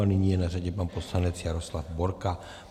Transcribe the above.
A nyní je na řadě pan poslanec Jaroslav Borka.